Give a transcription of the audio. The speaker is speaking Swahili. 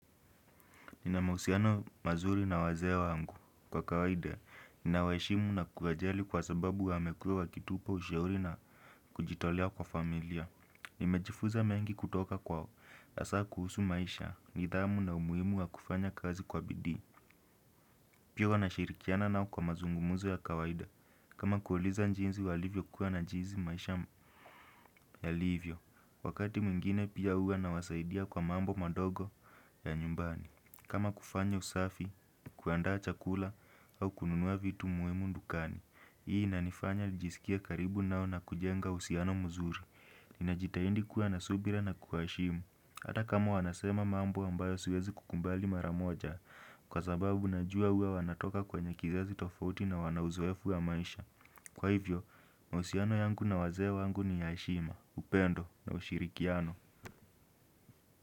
Nina mahusiano mazuri na wazee wangu kwa kawaida nina waeshimu na kuwajali kwa sababu wamekuwa wakitupa ushauri na kujitolea kwa familia. Nimejifuza mengi kutoka kwao. Hasa kuhusu maisha, nidhamu na umuhimu wa kufanya kazi kwa bidii pia huwa nashirikiana nao kwa mazungumuzo ya kawaida kama kuuliza jinsi walivyokuwa na jinsi maisha yalivyo. Wakati mwingine pia huwa nawasaidia kwa mambo madogo ya nyumbani kama kufanya usafi, kuandaa chakula au kununua vitu muhimu dukani hii inanifanya nijisikie karibu nao na kujenga uhusiano mzuri. Ninajitahindi kuwa na subira na kuwaheshimu hata kama wanasema mambo ambayo siwezi kukubali mara moja kwa sababu najua huwa wanatoka kwenye kizazi tofauti na wana uzoefu wa maisha kwa hivyo, mahusiano yangu na wazee wangu ni ya heshima, upendo na ushirikiano.